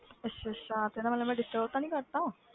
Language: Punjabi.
ਅੱਛਾ ਅੱਛਾ ਤੇ ਇਹਦਾ ਮਤਲਬ ਮੈਂ disturb ਤਾਂ ਨੀ ਕਰ ਦਿੱਤਾ।